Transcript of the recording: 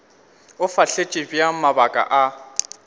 o fahletše bjang mabaka a